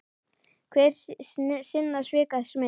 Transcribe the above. Hver er sinna svika smiður.